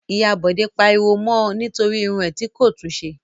Ìyá Bọ̀dé pariwo mọ nítorí irun rẹ̀ tí kò tún ṣe.